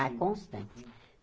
Ah, constante.